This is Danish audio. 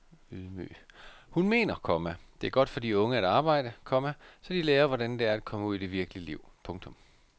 Hun mener, komma det er godt for de unge at arbejde, komma så de lærer hvordan det er at komme ud i det virkelige liv. punktum